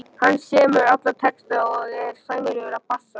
Hann semur alla texta og er sæmilegur á bassa.